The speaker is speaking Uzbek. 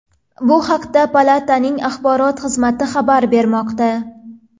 Bu haqda Palataning axborot xizmati xabar bermoqda .